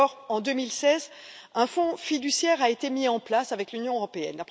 En 2016, un fonds fiduciaire a été mis en place avec l'Union européenne.